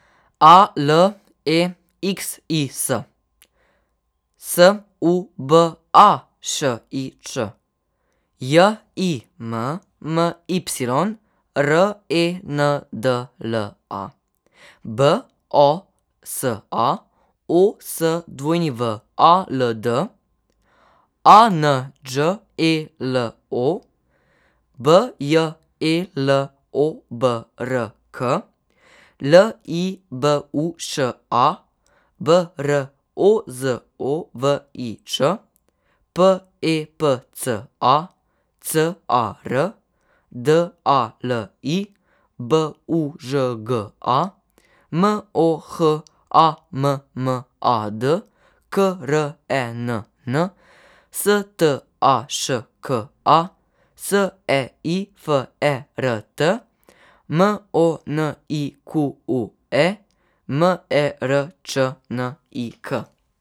A L E X I S, S U B A Š I Ć; J I M M Y, R E N D L A; B O S A, O S W A L D; A N Đ E L O, B J E L O B R K; L I B U Š A, B R O Z O V I Č; P E P C A, C A R; D A L I, B U Ž G A; M O H A M M A D, K R E N N; S T A Š K A, S E I F E R T; M O N I Q U E, M E R Č N I K.